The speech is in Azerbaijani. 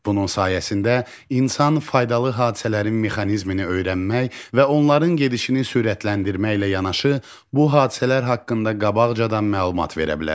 Bunun sayəsində insan faydalı hadisələrin mexanizmini öyrənmək və onların gedişini sürətləndirməklə yanaşı, bu hadisələr haqqında qabaqcadan məlumat verə bilər.